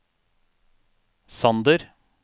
Sander